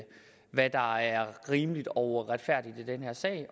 hvad der er rimeligt og retfærdigt i den her sag